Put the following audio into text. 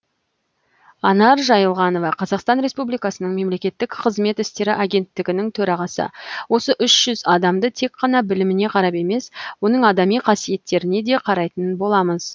анар жайылғанова қазақстан республикасының мемлекеттік қызмет істері агенттігінің төрағасы осы үш жүз адамды тек қана біліміне қарап емес оның адами қасиеттеріне де қарайтын боламыз